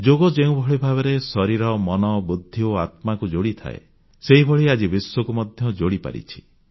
ଯୋଗ ଯେଉଁଭଳି ଭାବେ ଶରୀର ମନ ବୁଦ୍ଧି ଓ ଆତ୍ମାକୁ ଯୋଡ଼ିଥାଏ ସେହିଭଳି ଆଜି ବିଶ୍ୱକୁ ମଧ୍ୟ ଯୋଡ଼ିପାରିଛି